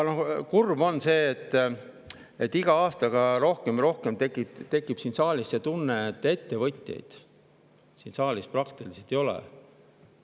Kurb on see, et iga aastaga rohkem ja rohkem tekib siin saalis tunne, et ettevõtjaid siin praktiliselt ei ole.